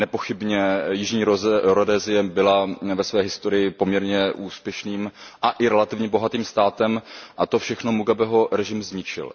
Nepochybně Jižní Rhodesie byla ve své historii poměrně úspěšným a i relativně bohatým státem, a to všechno Mugabeho režim zničil.